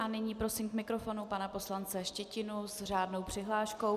A nyní prosím k mikrofonu pana poslance Štětinu s řádnou přihláškou.